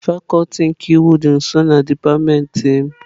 Fakuti nke iwu dị nso na dipatịmentị m.